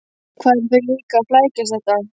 Hvað eru þau líka að flækjast þetta?